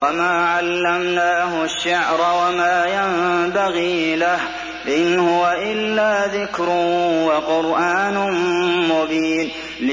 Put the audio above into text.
وَمَا عَلَّمْنَاهُ الشِّعْرَ وَمَا يَنبَغِي لَهُ ۚ إِنْ هُوَ إِلَّا ذِكْرٌ وَقُرْآنٌ مُّبِينٌ